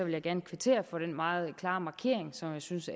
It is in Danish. jeg gerne kvittere for den meget klare markering som jeg synes